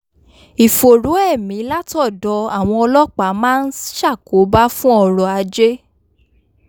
ìfòòró ẹ̀mí látọ̀dọ̀ àwọn ọlọ́pàá máa ń ṣàkóbá fún ọrọ̀ ajé